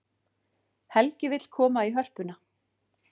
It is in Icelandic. Helgi vill koma í Hörpuna